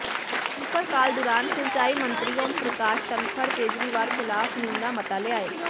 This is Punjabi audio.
ਸਿਫ਼ਰ ਕਾਲ ਦੌਰਾਨ ਸਿੰਚਾਈ ਮੰਤਰੀ ਓਮ ਪ੍ਰਕਾਸ਼ ਧਨਖੜ ਕੇਜਰੀਵਾਲ ਖ਼ਿਲਾਫ਼ ਨਿੰਦਾ ਮਤਾ ਲਿਆਏ